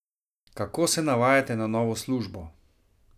Kako se navajate na novo službo?